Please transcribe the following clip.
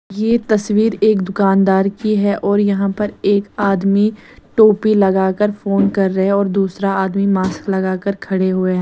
ये तस्वीर एक दुकानदार की है और यहाँ पर एक आदमी टोपी लगा कर फोन कर रहे है और दूसरा आदमी मास्क लगा कर खडे हुए है।